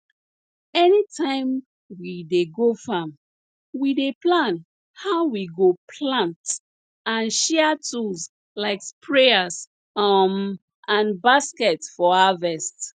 anytime we dey go farm we dey plan how we go plant and share tools like sprayers um and baskets for harvest